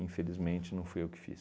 Infelizmente, não fui eu que fiz.